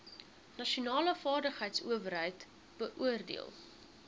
nasionale vaardigheidsowerheid beoordeel